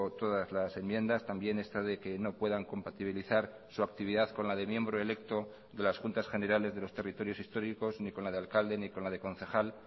todas las enmiendas también esta de que no puedan compatibilizar su actividad con la de miembro electo de las juntas generales de los territorios históricos ni con la de alcalde ni con la de concejal